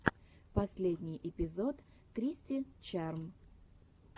последний эпизод кристи чарм